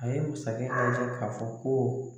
A ye masakɛ k'a fɔ ko